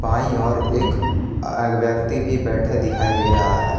बाईं ओर एक अ एक व्यक्ति भी बैठे दिखाई दे रहा है।